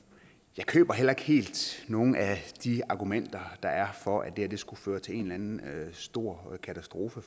jeg køber heller ikke helt nogen af de argumenter der er for at det her skulle føre til en en stor katastrofe